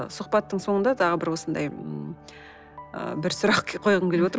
сұхбаттың соңында тағы бір осындай ы бір сұрақ қойғым келіп отыр